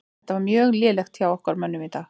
Þetta var mjög lélegt hjá okkar mönnum í dag.